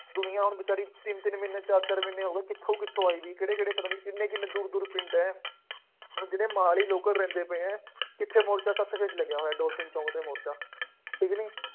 ਦੁਨੀਆ ਹੁਣ ਬੇਚਾਰੀ ਤਿੰਨ ਤਿੰਨ ਮਹੀਨੇ, ਚਾਰ ਚਾਰ ਮਹੀਨੇ ਹੋ ਗਏ, ਕਿੱਥੋ ਕਿੱਥੋਂ ਆਈ ਸੀ, ਕਿਹੜੇ ਕਿਹੜੇ ਪਤਾ ਨਹੀਂ ਕਿੰਨੇ ਕਿੰਨੇ ਦੂਰ ਪਿੰਡ ਹੈ, ਹੁਣ ਜਿਹੜੇ ਮੁਹਾਲੀ local ਰਹਿੰਦੇ ਪਏ ਆ, ਕਿੱਥੇ ਮੋਰਚਾ ਤਦ ਤੱਕ ਨਹੀਂ ਲੱਗਾ ਹੋਇਆ, ਡੋਰ ਸਿੰਘ ਚੌਂਕ ਤੇ ਮੋਰਚਾ, ਠੀਕ ਕਿ ਨਹੀਂ।